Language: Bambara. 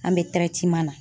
An be na.